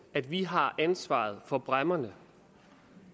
at vi har ansvaret for bræmmerne